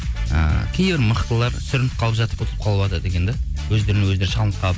ііі кейбір мықтылар сүрініп қалып жатып ұтылып қалыватады екен де өздерімен өздері шалынып қалып